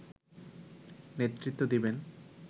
নেতৃ্ত্ব দেবেন